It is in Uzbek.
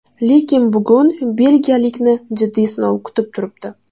Lekin bugun belgiyalikni jiddiy sinov kutib turibdi.